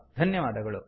ಧನ್ಯವಾದಗಳು